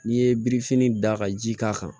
N'i ye birifini da ka ji k'a kan